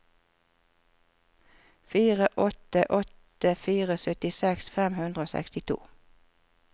fire åtte åtte fire syttiseks fem hundre og sekstito